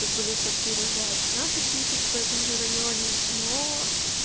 тут были квартиры за пятнадцать тысяч в этом же районе но